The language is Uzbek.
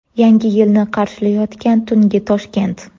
Yangi yilni qarshilayotgan tungi Toshkent .